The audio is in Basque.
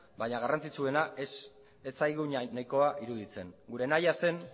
baina garrantzitsuena ez zaigu nahikoa iruditzen gure nahia zen